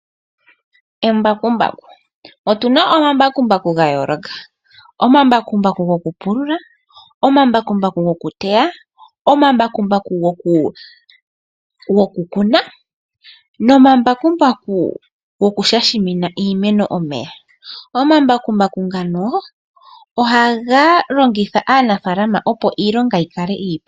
Embakumbaku. Otuna omambakumbaku ga yooloka. Omambakumbaku gokupulula, gokuteya, gokukuna, noshowo gokushashamina iimeno omeya. Omambakumbaku ngoka ohaga longitha aanafaalama opo iilonga yikale iipu.